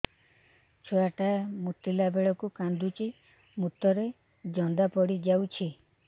ଛୁଆ ଟା ମୁତିଲା ବେଳକୁ କାନ୍ଦୁଚି ମୁତ ରେ ଜନ୍ଦା ପଡ଼ି ଯାଉଛି